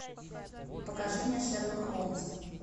покажи мне шерлок холмс